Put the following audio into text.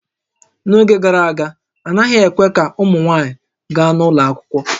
N'oge gara aga, a naghị ekwe ka ụmụ nwaanyị gaa ụlọ akwụkwọ